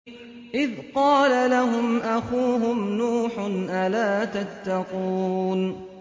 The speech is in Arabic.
إِذْ قَالَ لَهُمْ أَخُوهُمْ نُوحٌ أَلَا تَتَّقُونَ